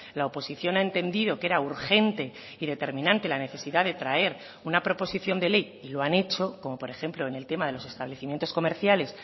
la oposición ha entendido que era urgente y determinante la necesidad de traer una proposición de ley y lo han hecho como por ejemplo en el tema de los establecimientos comerciales